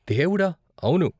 దేవుడా, అవును!